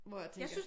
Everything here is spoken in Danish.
Hvor jeg tænker